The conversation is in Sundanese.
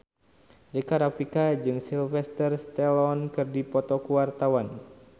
Rika Rafika jeung Sylvester Stallone keur dipoto ku wartawan